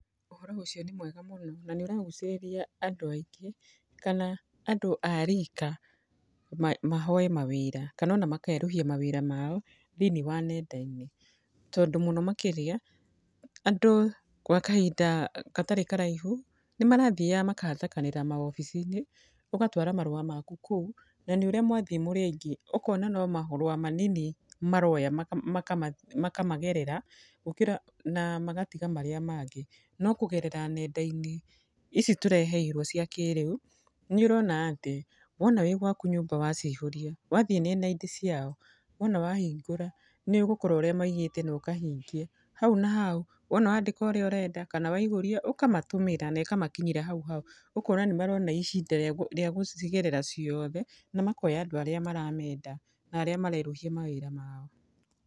Ũhoro ũcio nĩ mwega mũno. Na nĩ ũragucĩrĩria andũ aingĩ, kana andũ a riika mahoe mawĩra. Kana ona makerũhia mawĩra mao thĩini wa nenda-inĩ. Tondũ mũno makĩria, andũ gwa kahinda gatarĩ karaihu, nĩ marathiaga makahatĩkanĩrĩa maobici-inĩ, ũgatwara marũa maku kũu, na nĩ ũrĩa mwathi mũrĩ aingĩ. Ũkona no marũa manini maroya makamagerera, gũkĩra na magatiga marĩa mangĩ. No kũgerera nenda-inĩ ici tũreheirwo cia kĩrĩu, nĩ ũrona atĩ, wona wĩ gwaku nyũmba waciihũria, wathi nenda-inĩ ciao, wona wahingũra, nĩ ũgũkora ũrĩa maigĩte na ũkahingia. Hau na hau, wona wandĩka ũrĩa ũrenda, kana waihũria, ũkamatũmĩra na ĩkamakinyĩra hau hau. Ũkona nĩ marona ihinda rĩa gũcigerera ciothe, na makoya andũ arĩa maramenda na arĩa marerũhia mawĩra mao.